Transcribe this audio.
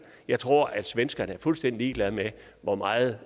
jeg tror at svenskerne er fuldstændig ligeglad med hvor meget